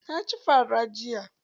Na ci fa ra jiya.